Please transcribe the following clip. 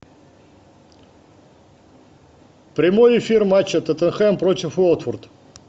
прямой эфир матча тоттенхэм против уотфорд